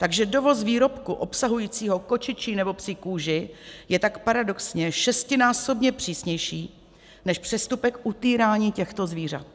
Takže dovoz výrobku obsahujícího kočičí nebo psí kůži je tak paradoxně šestinásobně přísnější než přestupek utýrání těchto zvířat.